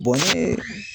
ni